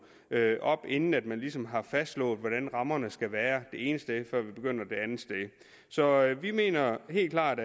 op inden man ligesom har fastslået hvordan rammerne skal være det ene sted så vi mener helt klart